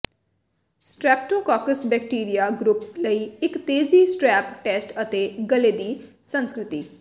streptococcus bacteria group ਲਈ ਇੱਕ ਤੇਜ਼ੀ ਸਟ੍ਰੈੱਪ ਟੈਸਟ ਅਤੇ ਗਲੇ ਦੀ ਸੰਸਕ੍ਰਿਤੀ